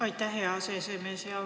Aitäh, hea aseesimees!